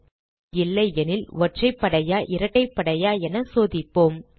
எண் எதிர்ம எண் இல்லையெனில் ஒற்றைப்படையா இரட்டைப்படையா என சோதிப்போம்